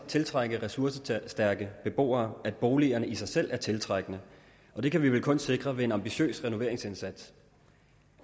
tiltrække ressourcestærke beboere at boligerne i sig selv er tiltrækkende og det kan vi vel kun sikre ved en ambitiøs renoveringsindsats